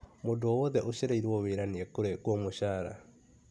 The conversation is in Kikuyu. Mũndũ owothe ũcereirwo wĩra nĩ ekũrengwo mũcara.